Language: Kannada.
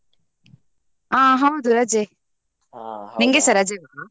ಆ ಹೌದು ರಜೆ ರಜವ?